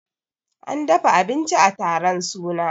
an dafa abinci a taron suna